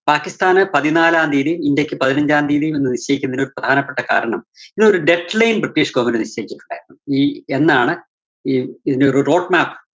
പാക്കിസ്ഥാന് പതിനാലാം തിയ്യതീം ഇന്ത്യക്ക് പതിനഞ്ചാം തിയ്യതീം എന്ന് നിശ്ചയിക്കുന്നതിനൊരു പ്രധാനപ്പെട്ട കാരണം ഇതിനൊരു deadline british government നിശ്ചയിച്ചിട്ടുണ്ടായിരുന്നു. ഈ എന്നാണ് ഈ ഇതിനൊരു routemap